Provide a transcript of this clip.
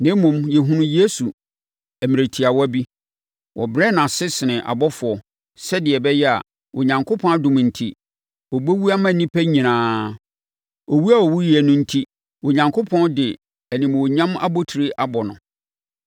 Na mmom, yɛhunu Yesu! Mmerɛ tiawa bi, wɔbrɛɛ no ase sene abɔfoɔ, sɛdeɛ ɛbɛyɛ a, Onyankopɔn adom enti, ɔbɛwu ama nnipa nyinaa. Owuo a ɔwuiɛ no enti, Onyankopɔn de animuonyam abotire abɔ no.